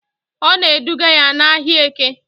Ọ na-eduga ya n'ahịa Eke